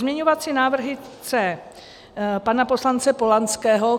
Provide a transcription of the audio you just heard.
Pozměňovací návrhy C pana poslance Polanského.